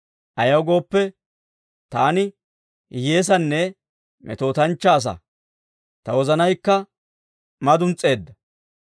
Ayaw gooppe, taani hiyyeessanne metootanchchaa asaa; ta wozanaykka maduns's'eedda.